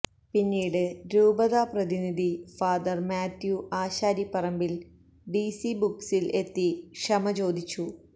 പിന്നീട് രൂപതാ പ്രതിനിധി ഫാ മാത്യു ആശാരിപ്പറമ്പിൽ ഡിസി ബുക്സില് എത്തി ക്ഷമ ചോദിച്ചു